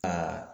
Aa